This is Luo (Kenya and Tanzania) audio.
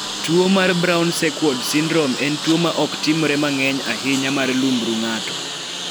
Tuo mar Brown Sequard syndrome en tuo ma ok timore mang'eny ahinya mar lumbru ng'ato.